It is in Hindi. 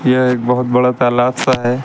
यह एक बहोत बड़ा तालाब सा है।